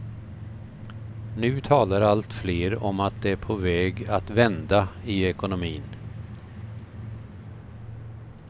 Nu talar allt fler om att det är på väg att vända i ekonomin.